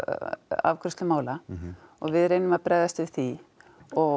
afgreiðslu mála og við reynum að bregðast við því og